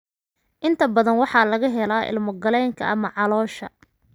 Inta badan waxaa laga helaa ilmo-galeenka ama caloosha.